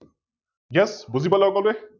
Yes বুজি পালে সকলোৱে?